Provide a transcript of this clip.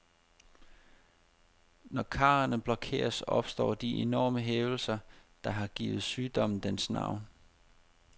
Når karrene blokeres, opstår de enorme hævelser, der har givet sygdommen dens navn.